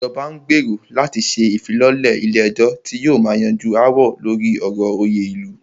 Ìjọba n gbérò láti ṣe ìfilọ́lẹ̀ ilé ẹ̀jọ́ tí yóò máà yanjú aáwọ̀ lórí ọ̀rọ̀ òyè ilu.